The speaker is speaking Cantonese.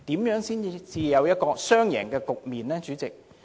如何才有雙贏的局面，主席？